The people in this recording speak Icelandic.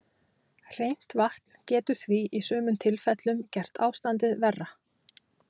Hreint vatn getur því í sumum tilfellum gert ástandið verra.